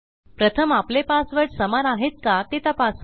प्रथम आपले पासवर्ड समान आहेत का ते तपासू